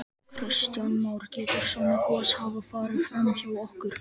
Kristján Már: Getur svona gos hafa farið fram hjá okkur?